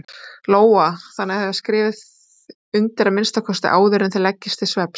Lóa: Þannig að þið skrifið undir að minnsta kosti áður en þið leggist til svefns?